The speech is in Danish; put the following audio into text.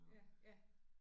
Ja ja